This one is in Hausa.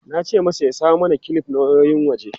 Na ce masa ya samo mana kilif na wayoyin waje.